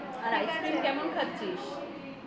আর ice cream কেমন খাচ্ছিস